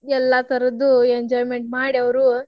ಎಲ್ಲಾ ತರದ್ದು enjoyment ಮಾಡಿ ಅವ್ರು.